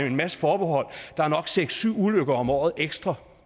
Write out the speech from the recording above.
en masse forbehold der er nok seks syv ulykker om året ekstra